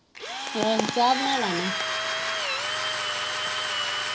ਆਹੋ ਚਾਹ ਬਣਾ ਲਾ ਮੈਂ।